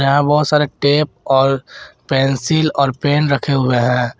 यहाँ बहोत सारे टेप और पेंसिल और पेन रखें हुए हैं।